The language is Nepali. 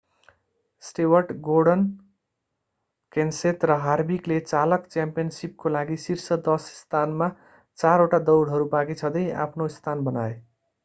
स्टेवर्ट गोर्डन केन्सेथ र हार्विकले चालक च्याम्पियनसिपको लागि शीर्ष दश स्थानमा चारवटा दौडहरू बाँकी छँदै आफ्नो स्थान बनाए